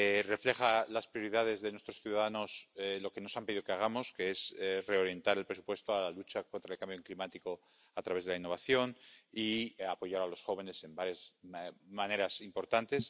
refleja las prioridades de nuestros ciudadanos, lo que nos han pedido que hagamos, que es reorientar el presupuesto a la lucha contra el cambio climático a través de la innovación y apoyar a los jóvenes en varias maneras importantes.